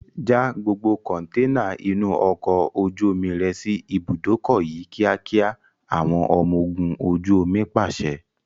Já gbogbo kọntẹ́ẹ́nà inú ọkọ̀ ojú omi rẹ sì ibùdókọ̀ yìí kíákíá! Àwọn ọmọ ogún ojú omi pàṣẹ.